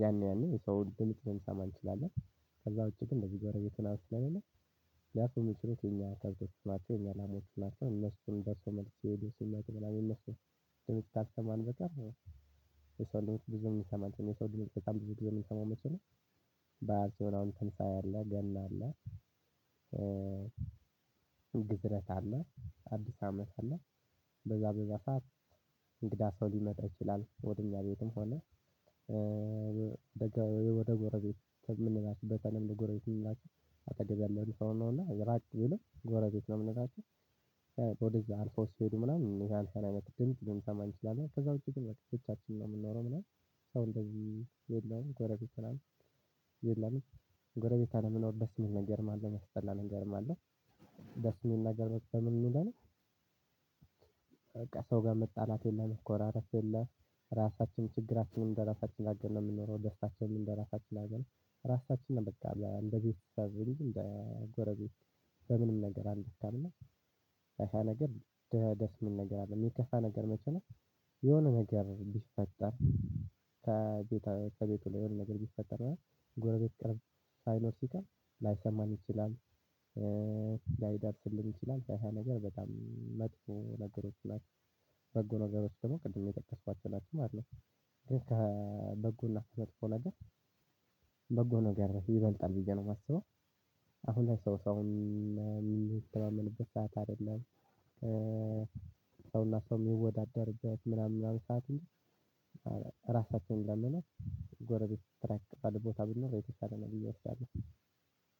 ያን ያን የሰው ድምጽ ልንሰማ እንችላለን። ከዛ ውጪ ግን እንደዚህ ጎረቤት ምናምን ስለሌለ ያ ሰው ሚጮሁት የኛ ከብቶች ናቸው የኛ ላሞች ናቸው። እነሱም ደርሶ መልስ ስሄድ ሲመጡ ምናምን የእነርሱን ካልሰማን በቃር የሰው ድምጽ ብዙም ልንሰማ አንችልም። የሰው ድምጽ በጣም ብዙ ጊዜ ምንሰማው መቼም በዓል ሲሆን አሁን ትንሳኤ አለ ገና አለ። ግዝረት አለ አዲስ አመት አለን። በዛ በዛ ሰዓት እንግዳ ሰው ሊመጣ ይችላል ወደ እኛ ቤትም ሆነ። ወደ ጎረቤት ተምንላቸው በተለምዶ ለጎረቤት ከምንላቸው አጠገብ ያለው ሰው ነው እና ራቅ ቢልም ጎረቤት ነው ምንላቸው። ወደዛ አልፎ ሲሄዱ ምናምን ይሄ አልፈን አይነት ድምጽ ልንሰማ እንችላለን ከዛ ውጪ ግን ብቻችንን ነው የምንኖረው ምናምን። ሰው እንደዚህ የለም ጎረቤት ምናምን የለም። ጎረቤት አለመኖር ደስ የሚል ነገርም አለ የሚያስጠላ ነገርም አለም። ደስ የሚል ነገር በምን ነው የምንለው? በቃ ሰው ጋር መጣላት የለ መኮራረፍ የለ። ራሳችንን ችግራችንን እንደራሳችን አርገን ነው የምንኖረው። ደስታችንን እንደራሳችን አርገን ራሳችንን በቃ እንደጊዜ ጎረቤት በምንም ነገር አትጣላም። እና ያ ያ ነገር ደስ የሚል ነገር አለ። የሚከፋ ነገር መቼ ነው? የሆነ ነገር ቢፈጠር ከቤቱ ላይ የሆነ ነገር ቢፈጠር ጎረቤት ቅርብ ሳይኖር ሲቀር ላይሰማን ይችላል። ላይዳርስልን ይችላል ያ ያ ነገር በጣም መጥፎ ነገሮች ናቸው። በጎ ነገሮች ደግሞ ቅድም የጠቀስኳቸው ናቸው ማለት ነው። ግን ከበጎና ከመጥፎ ነገር በጎ ነው ጋር ይበልጣል ብዬ ነው የማስበው። አሁን ላይ ሰው ሰውን የሚተማንበት ሰዓት አይደለም። ሰውና ሰው የሚወዳደርበት ምናምን ሰዓት ነው። ራሳቸውን ለመናገር ጎረቤት ራቅ ባለ ቦታ ብንኖር የተሻለ ነው ብዬ እወስዳለው።